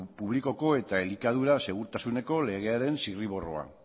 publikoko eta elikadura segurtasuneko legearen zirriborroa